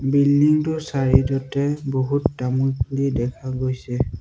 Building টোৰ side তে বহুত তামোল পুলি দেখা গৈছে।